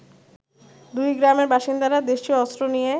দুইগ্রামের বাসিন্দারা দেশিয় অস্ত্র নিয়ে